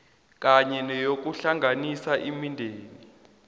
kanye neyokuhlanganisa imindeni